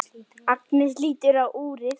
Agnes lítur á úrið.